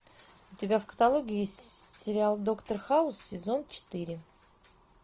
у тебя в каталоге есть сериал доктор хаус сезон четыре